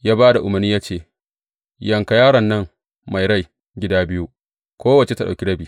Ya ba da umarni ya ce, Yanka yaron nan mai rai, gida biyu, kowacce ta ɗauki rabi.